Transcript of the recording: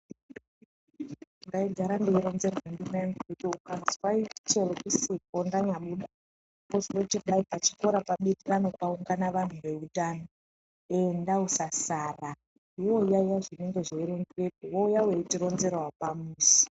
Ndaigara ndeironzerwa ndimayangu kuti chero ukazwa ndisipo ndanya buda pachikorapo panoungana vanhu veutano enda usasara iwewe yaiya zvinenge zveironzerwa wouya weitironzerawo pamuzi.